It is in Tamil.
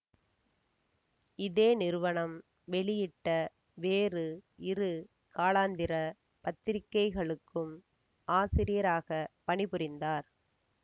இதே நிறுவனம் வெளியிட்ட வேறு இரு காலாந்திர பத்திரிக்கைகளுக்கும் ஆசிரியராக பணிபுரிந்தார்